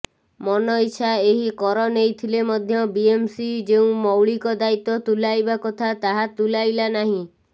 ମନଇଚ୍ଛା ଏହି କର ନେଇଥିଲେ ମଧ୍ୟ ବିଏମ୍ସି ଯେଉଁ ମୌଳିକ ଦାୟିତ୍ବ ତୁଲାଇବା କଥା ତାହା ତୁଲାଇଲା ନାହିଁ